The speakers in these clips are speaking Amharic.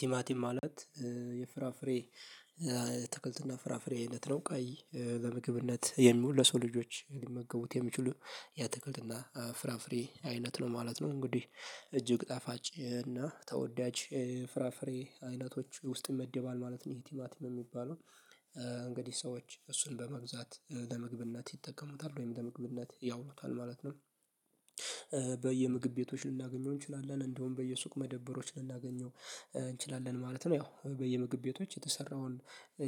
ቲማቲም ማለት የፍራፍሬ ትክልትና ፍራፍሬ ነው ቀይ በምግብነት የምውለሰው ልጆች ሊመገቡት የሚችሉ ያትክልትና ፍራፍሬ አይነት ነው ማለት ነው። እንግዲህ እጅግ ጠፋጭ እና ተወዳጅ ፍራፍሬ አይነቶች ውስጥ ይመድባል ማለት ነው ይሄ ቲማቲም የሚባለው እንግዲህ ሰዎች እሱን በመግዛት ለመግብነት ይጠቀሙታል ወይም ለመግብነት ያውሉታል ማለት ነው። በየምግብ ቤቶች ልናገኘው እንችላለን እንደውም በየሱቅ መደበሮች ልናገኘው እንችላለን ማለት ነው። ያው በየምግብ ቤቶች የተሰራውን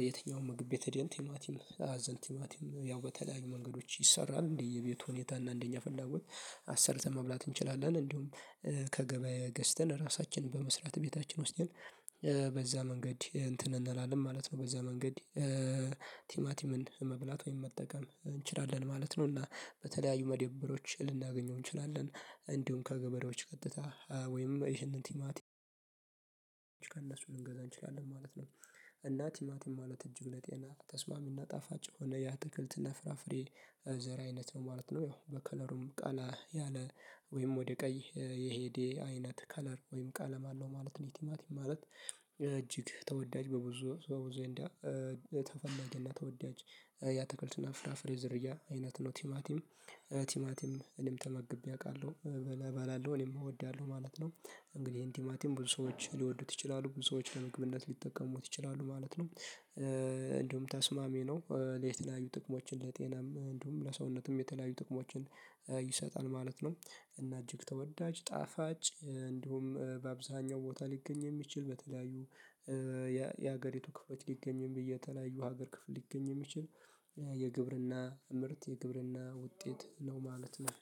የትኛውም ምግብ ቤት ቲማቲም አዘንቲማቲም ያው በተለያዩ መንገዶች ይሰራል እንዴ የቤቱ ሁኔታ እና አንደኛ ፈላጎት አሰርተን መብላት እንችላለን እንዲሁም ከገበያ ገዝተን ራሳችንን በመስራት ቤታችን ውስጥ በዛ መንገድ እንትን እንላለን ማለት ነው። በዚያ መንገድ ቲማቲምን መብላት ወይም መጠቀም እንችላለን ማለት ነው። እና በተለያዩ መደብሮች ልናገኘው እንችላለን እንዲሁም ከገበሬዎች ቀጥታ ወይም ይህንን ቲማቲም ልንገዛ እንችላለን ማለት ነው። እና ቲማቲም ማለት እጅግ ለጤና ተስማሚና ጣፋጭ ሆነ ያ ትክልትና ፍራፍሬ ዘር አይነት ነው ማለት ነው። ያው በከለሩም ቀላ ያለ ወይም ወደ ቀይ የሄዴ አይነት ከለር ወይም ቃለም አለው ማለት ነው። ኢቲማቲ ማለት እጅግ ተወዳጅ በብዙ በብዙ ዜንዳ ተፈላጊና ተወዳጅ ያአተክልትና ፍራፍሬ ዘርያ አይነት ነው ቲማቲም ቲማቲም እኔም ተመግቤ አውቃለሁ እባላለሁ እኔም እወዳለሁ ማለት ነው። እንግዲህ ይሄን ቲማቲም ብዙ ሰዎች ሊወዱት ይችላሉ ብዙ ሰዎች ለመግብነት ሊጠቀሙት ይችላሉ ማለት ነው። እንደውም ተስማሚ ነው ለየት ያሉ ጥቅሞችን ለጤናም እንዲሁም ለሰውነትም የተለያዩ ጥቅሞችን ይሰጣል ማለት ነው። እና እጅግ ተወዳጅ ጣፋጭ እንዲሁም በአብዛኛው ቦታ ሊገኝ የሚችል በተለያዩ የሀገሪቱ ክፍሎች ሊገኝም ብዬ የተለያዩ ሀገር ክፍል ሊገኝ የሚችል የግብርና ምርት የግብርና ውጤት ነው ማለት ነው